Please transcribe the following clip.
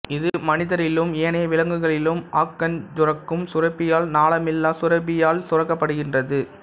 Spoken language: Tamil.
இது மனிதரிலும் ஏனைய விலங்குகளிலும் அகஞ்சுரக்கும் சுரப்பியால் நாளமில்லாச் சுரப்பி யால் சுரக்கப்படுகின்றது